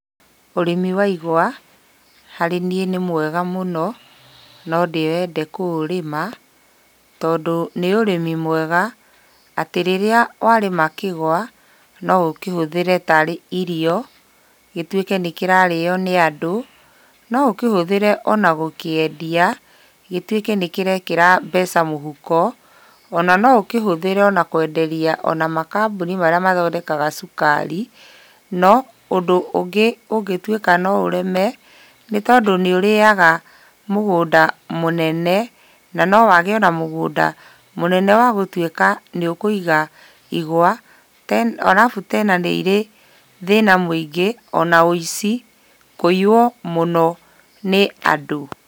Ũrĩmi wa igwa harĩ niĩ nĩ mwega mũno, no ndĩwende kũũrĩma tondũ nĩ ũrĩmi mwega atĩ rĩrĩa warĩma kĩgwa, no ũkĩhũthĩre tarĩ irio, gĩtuĩke nĩ kĩrarĩo nĩ andũ. No ũkĩhũthĩre ona gũkĩendia, gĩtuĩke nĩ kĩrekĩra mbeca mũhuko. Ona no ũkĩhũthĩre ona kwenderia ona makambuni marĩa mathondekaga cukari, no ũndũ ũngĩ ũngĩtuĩka no ũreme, nĩ tondũ nĩ ũrĩaga mũgũnda mũnene na nowage ona mũgũnda mũnene wa gũtuĩka nĩ ũkũiga igwa. Alafu tena nĩ irĩ thĩna mũingĩ ona ũici, kũiywo mũno nĩ andũ.